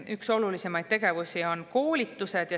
Üks olulisemaid tegevusi on koolitused.